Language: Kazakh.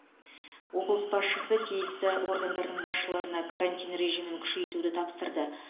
облыс басшысы тиісті органдардың басшыларына карантин режимін күшейтуді тапсырды